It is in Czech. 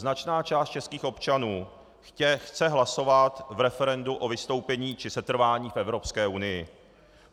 Značná část českých občanů chce hlasovat v referendu o vystoupení či setrvání v Evropské unii.